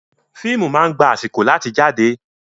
Fíìmù máa ń gba àsìkò láti jáde.